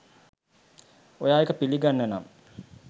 ඔයා ඒක පිළිගන්න නම්